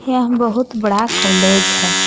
यह बहुत बड़ा कॉलेज है।